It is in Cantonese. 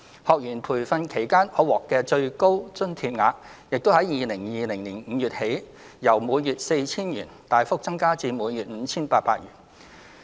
學員培訓期間可獲的最高津貼額，亦於2020年5月起由每月 4,000 元，大幅增加至每月 5,800 元。